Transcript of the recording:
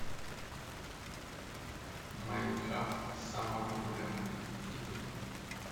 майнкрафт самые популярные видео